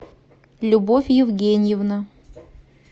любовь евгеньевна